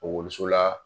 Ekɔliso la